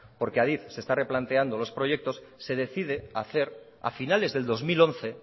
porque adif se está replanteando los proyectos se decide hacer a finales del dos mil once